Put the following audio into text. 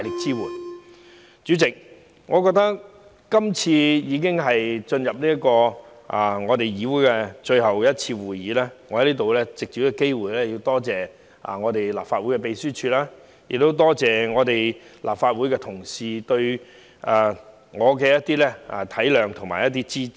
主席，這次已是我加入議會的最後一次會議，我想藉此機會感謝立法會秘書處，並感謝立法會各同事對我的體諒和支持。